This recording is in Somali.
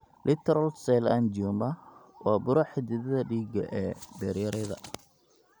Littoral cell angioma (LCA) waa buro xididdada dhiigga ee beeryarada.